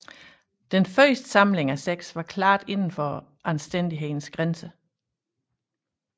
Den første samling af seks var klart inden for anstændighedens grænser